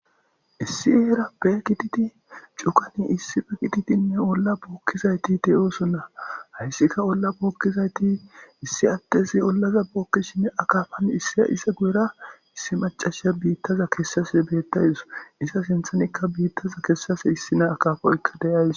Issi yeera be gididi cukani issife gididinne olla bookkizayti teyoosonna hayssika olla bookkizayti issi attezi ollaza bookkishine akaafan issia isa gu'era issi macasha biittaza kessase bettaydiso issa sinthanikka biittaza kessase issi naa akafoykka deyays.